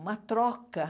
Uma troca.